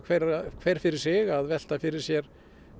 hver hver fyrir sig að velta fyrir sér